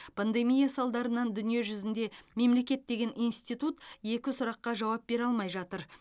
пандемия салдарынан дүниежүзінде мемлекет деген институт екі сұраққа жауап бере алмай жатыр